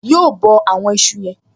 Yóò bọ àwọn ìṣù yen